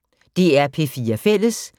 DR P4 Fælles